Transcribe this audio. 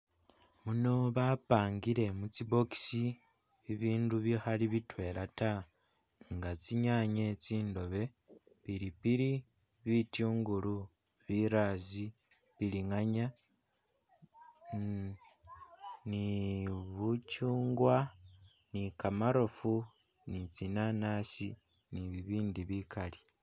Muno bapangile mutsi box ibindu bikhali bitwela ta nga tsinyanye tsindobe, pilipili, bityungulu, birazi, bilinganya, um ni bukyungwa, ni kamarofu, ni tsinanasi, ni bibindi bikali.